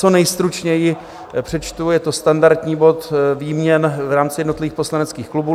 Co nejstručněji přečtu, je to standardní bod výměn v rámci jednotlivých poslaneckých klubů.